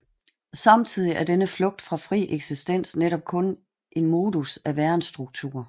Samtidig er denne flugt fra fri eksistens netop kun en modus af værensstruktur